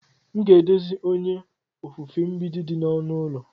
M ga-edozi onye ofufe mgbidi dị na ọnụ ụlọ.